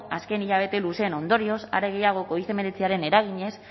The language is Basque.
azken hilabete luzeen ondorioz are gehiago covid hemeretziaren eraginez